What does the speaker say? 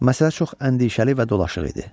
Məsələ çox əndişəli və dolaşıq idi.